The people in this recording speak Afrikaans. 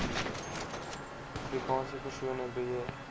afrikaanse persone beheer